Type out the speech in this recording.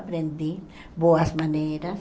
Aprendi boas maneiras.